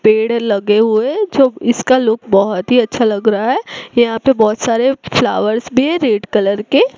पेड़ लगे हुए जो इसका लुक बहोत ही अच्छा लग रहा है यहां पे बहोत सारे फ्लावर्स भी है रेड कलर के--